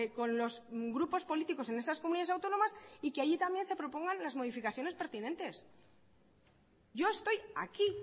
con los grupos políticos en esas comunidades autónomas y que allí también se propongan las modificaciones pertinentes yo estoy aquí